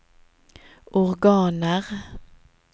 organer